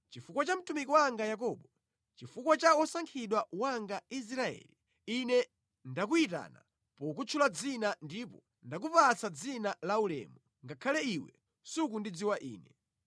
Chifukwa cha mtumiki wanga Yakobo, chifukwa cha wosankhidwa wanga Israeli, Ine ndakuyitana pokutchula dzina ndipo ndakupatsa dzina laulemu ngakhale iwe sukundidziwa Ine.